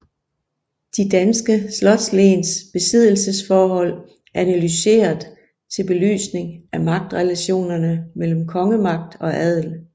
De danske slotslens besiddelsesforhold analyseret til belysning af magtrelationerne mellem kongemagt og adel